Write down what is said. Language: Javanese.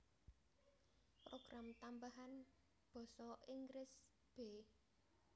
Program Tambahan Basa Inggris b